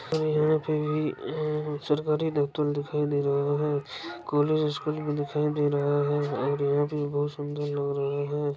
ओर यहापे भी भी सरकारी डॉक्टन दिखाई दे रहा है कॉलेज स्कूल भी दिखाई दे रहा है और यहा पे बहुत सूदर लग रहा है।